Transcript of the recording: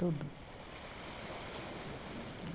Tudo. Eh